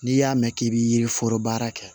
N'i y'a mɛn k'i bɛ yiri foro baara kɛ